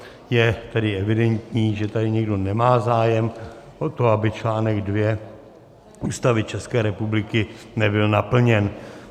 Je tedy evidentní, že tady nikdo nemá zájem o to, aby článek 2 Ústavy České republiky nebyl naplněn.